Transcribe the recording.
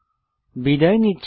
বিদায় নিচ্ছি